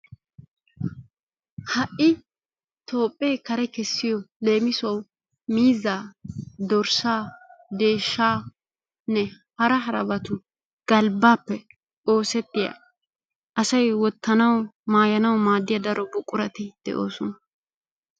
Ha'i Toophee kare kessiyo leemissuwawu miizzaa, dorssaa, deeshshaanne hara harabatu galbbappe oosetiyaa asay wottanawu maayanawu maaddiya daro buqurati de'oosona.